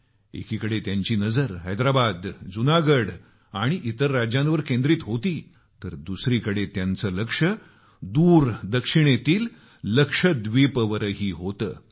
एकीकडे त्यांची नजर हैदराबाद जुनागढ आणि इतर राज्यांवर केंद्रित होती तर दुसरीकडे त्यांचं लक्ष सुदूर दक्षिणेतील लक्षद्वीपवरही होतं